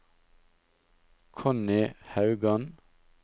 Connie Haugan